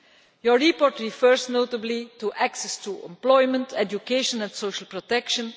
Your report refers, notably, to access to employment, education and social protection.